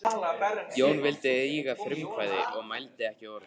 Jón vildi ekki eiga frumkvæði og mælti ekki orð.